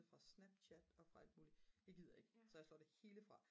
fra snapchat og fra alt muligt det gider jeg ikke så jeg slår det hele fra